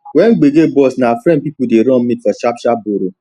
when gbege burst na friends people dey run meet for sharp sharp borrow